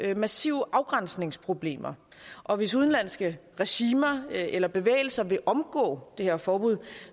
jeg massive afgrænsningsproblemer og hvis udenlandske regimer eller bevægelser vil omgå det her forbud